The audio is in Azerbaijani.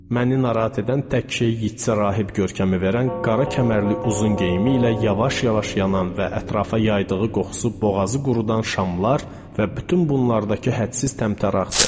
Məni narahat edən tək şey Yeatsə rahib görkəmi verən qara kəmərli uzun geyimi ilə yavaş-yavaş yanan və ətrafa yaydığı qoxusu boğazı qurudan şamlar və bütün bunlardakı hədsiz təmtəraxdır.